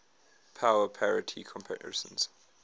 power parity comparisons